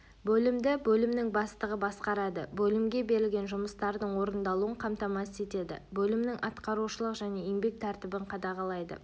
бөлімді бөлімнің бастығы басқарады бөлімге берілген жұмыстардың орындалуын қамтамасыз етеді бөлімнің атқарушылық және еңбек тәртібін қадағалайды